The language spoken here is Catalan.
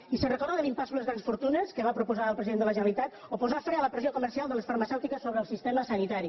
i se’n recorda de l’impost sobre les grans fortunes que va proposar el president de la generalitat o posar fre a la pressió comercial de les farmacèutiques sobre el sistema sanitari